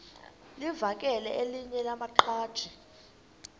livakele elinye lamaqhaji